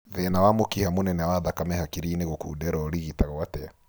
Thĩna wa mũkiha mũnene wa thakame hakiri-inĩ gũkundera ũrigitagwo atĩa